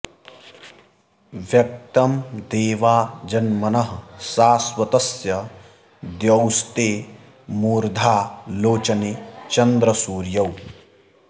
व्यक्तं देवा जन्मनः शाश्वतस्य द्यौस्ते मूर्धा लोचने चन्द्रसूर्यौ